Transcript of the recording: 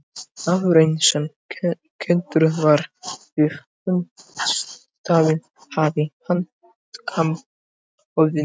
Maðurinn sem kenndur var við fundarstaðinn hafði hanakamb á höfðinu.